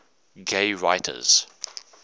gay writers